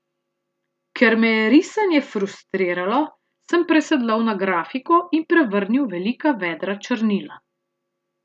Ker me je risanje frustriralo, sem presedlal na grafiko in prevrnil velika vedra črnila.